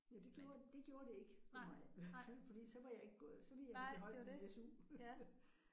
Ja det gjorde det gjorde det ikke ved mig hvert fald fordi så var jeg ikke gået så ville jeg have beholdt min SU